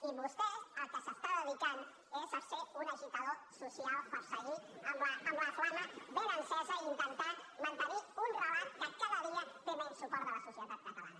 i vostè al que es dedica és a ser un agitador social per seguir amb la flama ben encesa i intentar mantenir un relat que cada dia té menys suport de la societat catalana